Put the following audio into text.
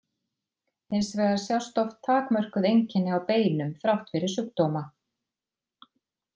Hins vegar sjást oft takmörkuð einkenni á beinum þrátt fyrir sjúkdóma.